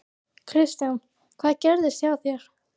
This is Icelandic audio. Kristján: Hvað gerðist hjá þér?